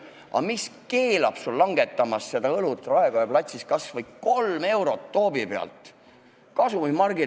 Aga mis keelab sul langetamast Raekoja platsis õlle hinda kas või 3 eurot toobi pealt?